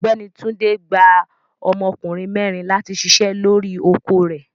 Ọgbẹni Túndé gbà ọmọkùnrin mẹrin láti ṣíṣẹ̀ lọ́ri oko rẹ̀.